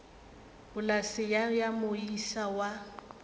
polase ye ya moisa wa